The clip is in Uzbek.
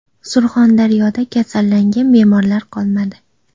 Surxondaryoda kasallangan bemorlar qolmadi.